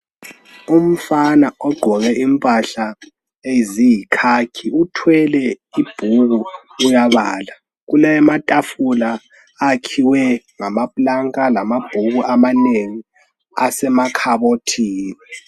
Umfana ogqoke impahla eziyikhakhi, uthwele ibhuku uyabala. Kulamatafula akhiwe ngamaplanka, lamabhuku amanengi asemakhabothini.